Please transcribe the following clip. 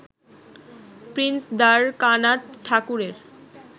Prince Dwarkanath ঠাকুরের